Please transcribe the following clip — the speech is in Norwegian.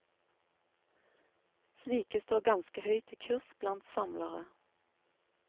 Slike står ganske høyt i kurs blant samlere.